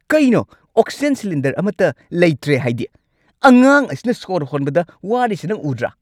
ꯀꯩꯅꯣ oxygen cylinder ꯑꯃꯠꯇ ꯂꯩꯇ꯭ꯔꯦ ꯍꯥꯏꯗꯤ? ꯑꯉꯥꯡ ꯑꯁꯤꯅ ꯁꯣꯔ ꯍꯣꯟꯕꯗ ꯋꯥꯔꯤꯁꯦ ꯅꯪ ꯎꯗ꯭ꯔꯥ?